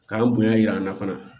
K'an bonya yira an na fana